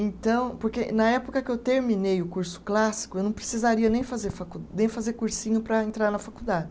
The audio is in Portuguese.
Então, porque na época que eu terminei o curso clássico, eu não precisaria nem fazer facul, nem fazer cursinho para entrar na faculdade.